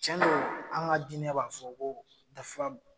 Cɛn do an ka dinɛ b'a fɔ ko dafab